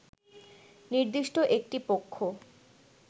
নির্দিষ্ট একটি পক্ষ